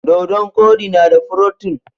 Dodon koɗi na da furotin